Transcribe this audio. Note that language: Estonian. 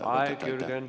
Aeg, Jürgen!